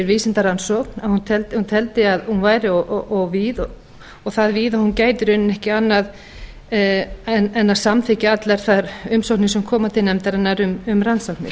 vísindarannsókn að hún teldi að hún væri of víð og það víð að hún gæti í rauninni ekki annað gert en að samþykkja allar þær umsóknir sem koma til nefndarinnar um rannsóknir